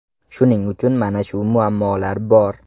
Shuning uchun mana shu muammolar bor.